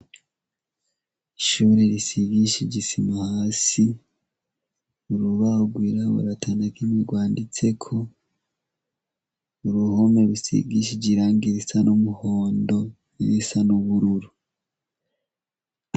Ishure risigishije isima hasi urubahogwirawo atanakimwe rwanditseko uruhome rusigishije iranga risa n'umuhondo n'irisa n'ubururu.